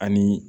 Ani